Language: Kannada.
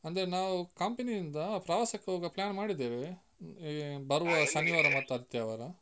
ಅಂದ್ರೆ ನಾವು company ಯಿಂದ ಪ್ರವಾಸಕ್ಕೆ ಹೋಗುವ plan ಮಾಡಿದ್ದೇವೆ. ಈ ಬರುವ ಶನಿವಾರ ಮತ್ತು ಆದಿತ್ಯವಾರ.